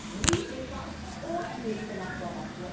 Oui, les femmes ont une excellente formation.